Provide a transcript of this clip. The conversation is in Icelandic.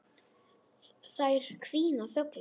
Þær hvína þöglar.